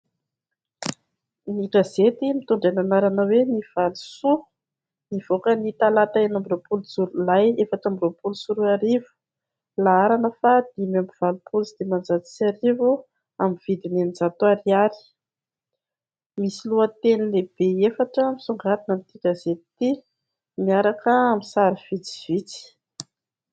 Ny gazety mitondra ny anarana hoe "Ny Valo soa" nivoaka ny talata enina amby roapolo jolay efatra amby roapolo sy roa arivo, laharana faha dimy amby valopolo sy dimanjato sy arivo, amin'ny vidiny eninjato ariary. Misy lohateny lehibe efatra misongadina amin'ity gazety ity miaraka amin'ny sary vitsivitsy.